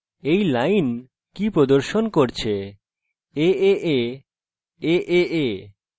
এই line কি প্রদর্শন করছে aaa aaa…